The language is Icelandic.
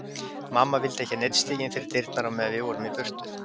Mamma vildi ekki að neinn stigi inn fyrir dyrnar á meðan við vorum í burtu.